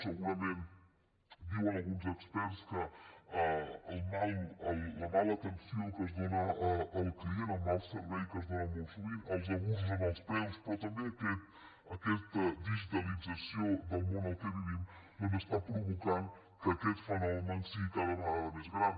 segurament diuen alguns experts que la mala atenció que es dóna al client el mal servei que es dóna molt sovint els abusos en els preus però tam·bé aquesta digitalització del món en què vivim doncs està provocant que aquest fenomen sigui cada vega·da més gran